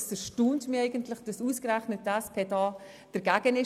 Es erstaunt mich, dass ausgerechnet die SP dagegen ist.